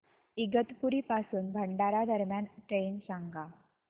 इगतपुरी पासून भंडारा दरम्यान ट्रेन सांगा